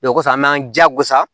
kɔfɛ an m'an jigosa